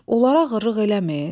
Onlara ağırlıq eləmir?